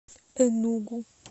энугу